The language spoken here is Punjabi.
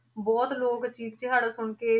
ਬਹੁਤ ਲੋਕ ਚੀਖ ਚਿਹਾੜਾ ਸੁਣਕੇ।